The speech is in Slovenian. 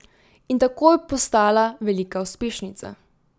In takoj postala velika uspešnica.